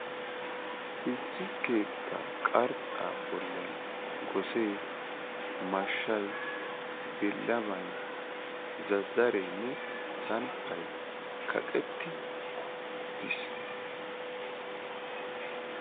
Issi keettaa qarxxaa bollan gosee, mashshay, billamay, zazzareenne samppay kaqetti uttis.